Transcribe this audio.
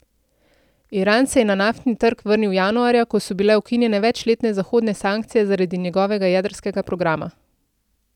Iran se je na naftni trg vrnil januarja, ko so bile ukinjene večletne zahodne sankcije zaradi njegovega jedrskega programa.